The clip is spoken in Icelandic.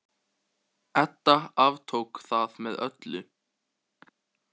Edda aftók það með öllu.